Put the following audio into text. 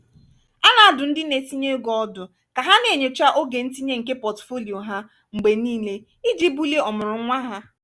a na-adụ ndị na-etinye ego ọdụ ka ha na-enyocha oge ntinye nke pọtụfoliyo ha mgbe niile iji bulie omurunwa ha